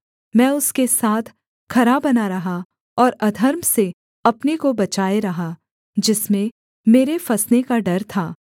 मैं उसके साथ खरा बना रहा और अधर्म से अपने को बचाए रहा जिसमें मेरे फँसने का डर था